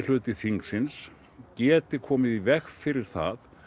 minnihluti þingsins geti komið í veg fyrir það